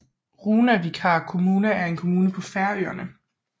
Runavíkar kommuna er en kommune på Færøerne